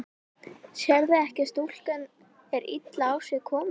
Sérðu ekki að stúlkan er illa á sig komin.